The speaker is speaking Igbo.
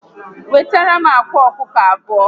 Wetaram akwa ọkụkọ abụọ